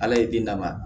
Ala ye den lamaga